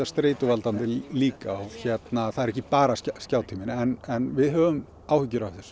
streituvaldandi líka það er ekki bara skjátíminn en við höfum áhyggjur af þessu